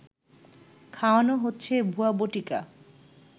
খাওয়ানো হচ্ছে ভুয়া বটিকা